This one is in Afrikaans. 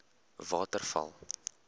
waterval